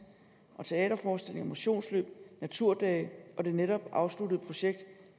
teaterforestillinger motionsløb naturdage og det netop afsluttede projekt